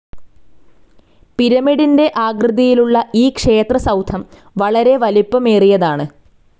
പിരമിഡിന്റെ ആകൃതിയിലുള്ള ഈ ക്ഷേത്രസൌധം വളരെ വലിപ്പമേറിയതാണ്.